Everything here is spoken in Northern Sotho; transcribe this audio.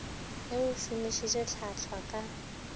ge o šomišitše hlwahlwa ka